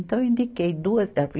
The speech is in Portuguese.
Então eu indiquei duas.